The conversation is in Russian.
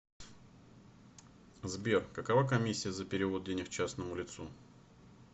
сбер какова комиссия за перевод денег частному лицу